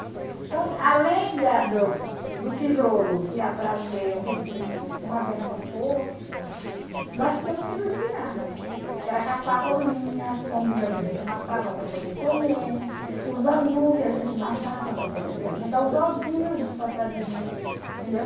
Então, além da do do tijolo que ia trazer uma verba pouca, nós tínhamos que nos virar, que era caçar rolinhas, pombinhas a gente matava para poder comer, os anu que a gente matava para poder se alimentar, os ovinhos dos passarinhos, entendeu?